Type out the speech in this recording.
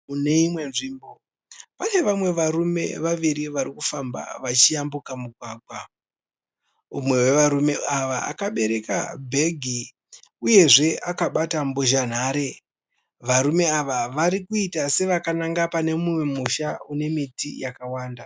Mune imwe nzvimbo, pane vamwe vaviri varikufamba vachiyambuka mugwagwa. Mumwe wevarume ava, akabereka bhegi uyezve akabata mbozhanhare. Varume ava varikuita sevakananga pane mumwe musha inemiti yakawanda.